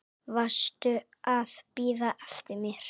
Varstu að bíða eftir mér?